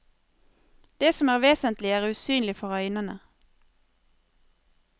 Det som er vesentlig, er usynlig for øynene.